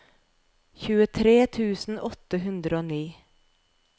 tjuetre tusen åtte hundre og ni